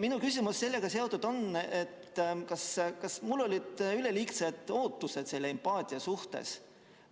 Minu küsimus sellega seotult on, kas mul olid üleliigsed ootused selle empaatia suhtes